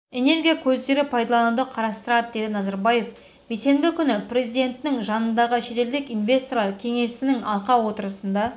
энергия көздері пайдалануды қарастырады деді назарбаев бейсенбі күні президентінің жанындағы шетелдік инвесторлар кеңесінің алқа отырысында